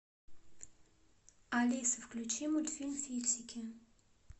алиса включи мультфильм фиксики